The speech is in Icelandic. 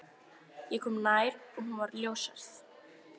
Ég kom nær og hún var ljóshærð.